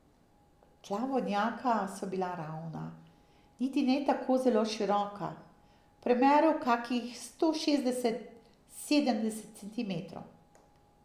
Tla vodnjaka so bila ravna, niti ne tako zelo široka, v premeru kakih sto šestdeset, sedemdeset centimetrov.